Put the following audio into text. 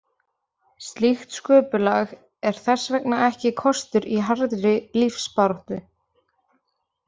Slíkt sköpulag er þess vegna ekki kostur í harðri lífsbaráttu.